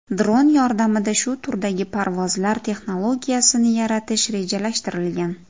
Dron yordamida shu turdagi parvozlar texnologiyasini yaratish rejalashtirilgan.